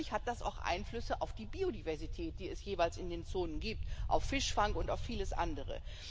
Und natürlich hat das auch Einflüsse auf die Biodiversität, die es jeweils in den Zonen gibt auf Fischfang und auch vieles andere.